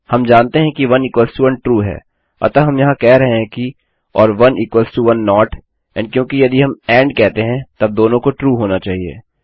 हम जानते हैं कि 1 इक्वल्स टो 1 ट्रू है अतः यहाँ हम कह रहे हैं किor1 इक्वल्स टो 1 नोट एंड क्योंकि यदि हम एंड कहते हैं तब दोनों को ट्रू होना चाहिए